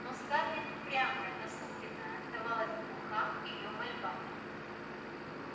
но скарлетт упрямая насупленная оставалась глуха к её мольбам